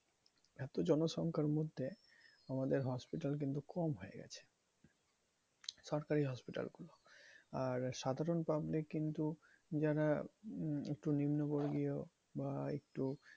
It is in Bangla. এত জনসংখ্যার মধ্যে আমাদের hospital কিন্তু কম হয়ে গেছে সরকারি hospital. আর সাধারণ public কিন্তু যারা একটু নিম্ন বর্গীয় বা একটু